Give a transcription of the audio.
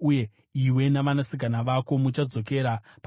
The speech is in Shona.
uye iwe navanasikana vako muchadzokera pane zvavaiva kare.